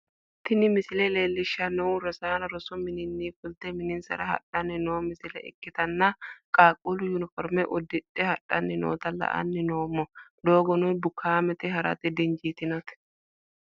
tini misile leellishshannohu rosaano rosu mininni fulte mininsara hadhanni noo misile ikkitanna, qaaqquluno uniforme uddidhe hadhanni noota la'anni noommo, doogono bukaamete ha'rate dinjitannote.